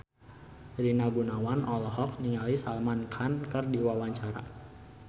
Rina Gunawan olohok ningali Salman Khan keur diwawancara